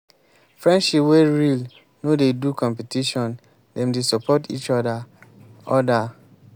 friendship wey real no dey do competition dem dey support each oda. oda.